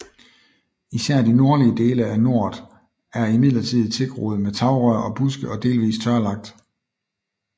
Især de nordlige dele af noret er imidletid tilgroet med tagrør og buske og delvis tørlagt